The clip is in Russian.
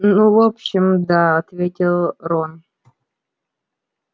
ну в общем да ответил рон